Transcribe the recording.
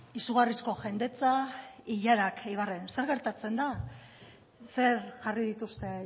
izugarrizko jendetza ilarak eibarren zer gertatzen da zer jarri dituzte